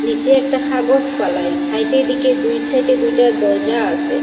নীচে একটা হাগজ ফালাই সাইটের দিকে দুই সাইটে দুইটা দরজা আসে।